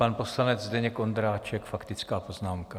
Pan poslanec Zdeněk Ondráček, faktická poznámka.